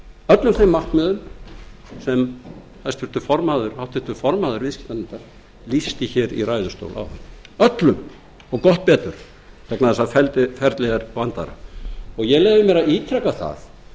öllum þeim markmiðum sem háttvirtur formaður viðskiptanefndar lýsti í ræðustól áðan öllum og gott betur vegna þess a ferlið er vandaðra ég leyfi mér að ítreka það að það